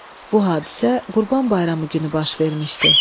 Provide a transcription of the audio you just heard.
Bu hadisə Qurban Bayramı günü baş vermişdi.